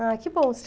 Ah, que bom.